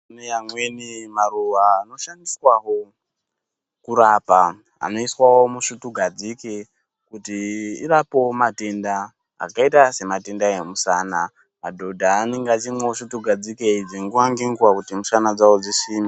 Kune amweni maruwa anoshandiswawo kurapa. Anoiswawo musvutugadzike, kuti irapewo matenda, akaita sematenda emisana. Madhodha anenge achingomwa svutugadzike idzi nguwa nenguwa kuti mishana dzawo dzisimbe.